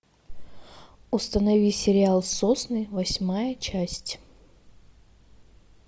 установи сериал сосны восьмая часть